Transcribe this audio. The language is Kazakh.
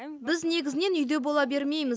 біз негізінен үйде бола бермейміз